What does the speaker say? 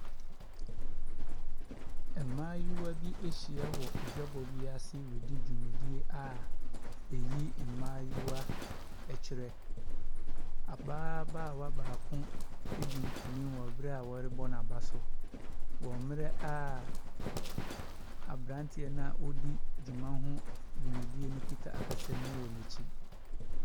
Mmaayewa bi ahyia wɔ adwabɔ bi ase redi dwumadie a ɛyi mmaayewa kyerɛ. Abaa baawa baako adi nkunum wɔ berɛ a wɔrebɔ n'aba so, wɔ berɛ a aberanteɛ a ɔredi dwuma ho dwumadie no kita akasamu wɔ n'akyi.